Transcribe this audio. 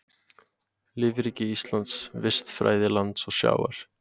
Lífríki Íslands, vistfræði lands og sjávar.